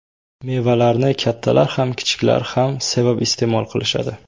Mevalarni kattalar ham kichiklar ham sevib iste’mol qilishadi.